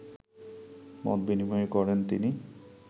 মতবিনিময় করেন তিনি